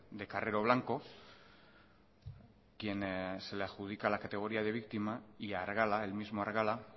de carrero blanco quien se le adjudica la categoría de víctima y argala el mismo argala